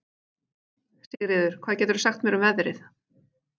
Sigríður, hvað geturðu sagt mér um veðrið?